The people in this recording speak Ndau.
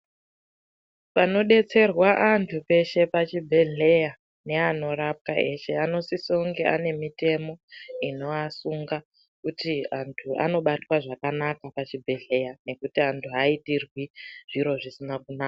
Panodetserwa antu peshe pachibhedhleya neanorapwa eshe anosisa kunge ane mitemo inoasunga kuti antu anobatwa zvakanaka pachibhedhleya nekuti antu aaitirwi zviro zvisina kuna.